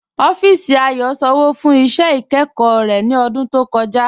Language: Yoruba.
Ọffísì Ayò sànwo fún iṣẹ́ ikẹ́kọ̀ rẹ̀ ní ọ̀dún tó kọ̀ja.